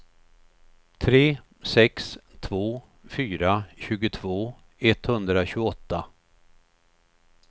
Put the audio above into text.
tre sex två fyra tjugotvå etthundratjugoåtta